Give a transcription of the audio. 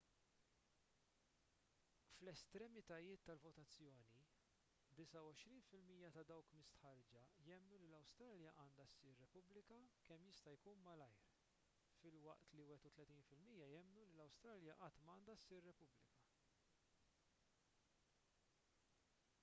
fl-estremitajiet tal-votazzjoni 29 fil-mija ta' dawk mistħarrġa jemmnu li l-awstralja għandha ssir repubblika kemm jista' jkun malajr filwaqt li 31 fil-mija jemmnu li l-awstralja qatt m'għandha ssir repubblika